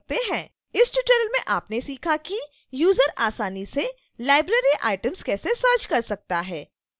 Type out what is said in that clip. इस ट्यूटोरियल में आपने सीखा कि यूजर आसानी से लाइब्रेरी आइटम कैसे सर्च कर सकता है